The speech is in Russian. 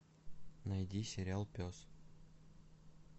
найди сериал пес